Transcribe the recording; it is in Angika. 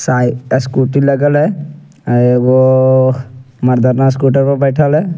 साई स्कूटी लगल हेय एगो मर्दाना स्कूटर पर बैठएल हेय ।